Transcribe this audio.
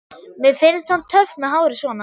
Mér finnst hann töff með hárið svona!